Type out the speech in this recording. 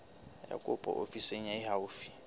ya kopo ofising e haufi